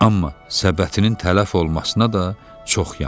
Amma səbətinin tələf olmasına da çox yandı.